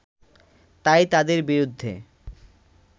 তাই তাদের বিরুদ্ধে